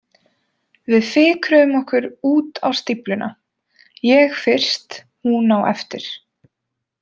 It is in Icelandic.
Við fikruðum okkur út á stífluna, ég fyrst, hún á eftir.